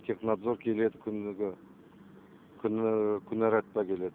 технадзор келеді күніге күні келеді